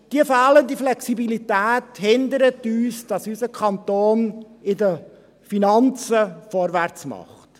Diese fehlende Flexibilität verhindert, dass unser Kanton bei den Finanzen vorwärts macht.